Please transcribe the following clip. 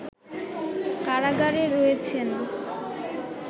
কারাগারে রয়েছেন